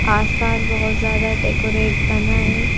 आसपास बहुत ज्यादा डेकोरेट बना है।